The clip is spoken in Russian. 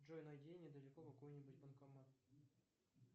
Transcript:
джой найди недалеко какой нибудь банкомат